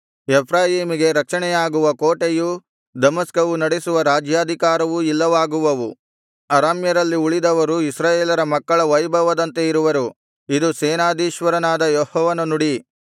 ಎಫ್ರಾಯೀಮಿಗೆ ರಕ್ಷಣೆಯಾಗಿರುವ ಕೋಟೆಯೂ ದಮಸ್ಕವು ನಡೆಸುವ ರಾಜ್ಯಾಧಿಕಾರವೂ ಇಲ್ಲವಾಗುವವು ಅರಾಮ್ಯರಲ್ಲಿ ಉಳಿದವರು ಇಸ್ರಾಯೇಲರ ಮಕ್ಕಳ ವೈಭವದಂತೆ ಇರುವರು ಇದು ಸೇನಾಧೀಶ್ವರನಾದ ಯೆಹೋವನ ನುಡಿ